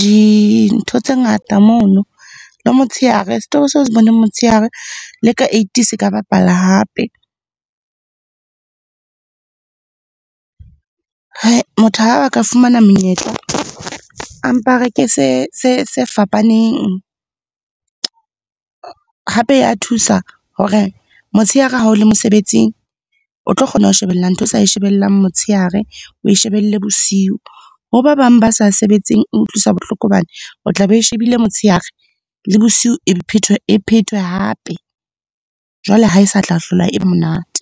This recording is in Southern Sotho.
dintho tse ngata moo. Le motsheare, setori seo o se boneng motshehare, le ka eight se ka bapala hape. Motho ha ba ka fumana menyetla, a mpa reke se fapaneng. Hape ya thusa hore motshehare ha o le mosebetsing, o tlo kgona ho shebella ntho o sa e shebellang motshehare, o e shebelle bosiu. Ho ba bang ba sa sebetseng, e utlwisa bohloko hobane o tla be o e shebile motshehare, le bosiu e be phethwe, e phethwe hape. Jwale ha e sa tla hlola e monate.